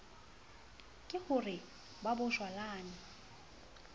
ke ho re ba bojwalane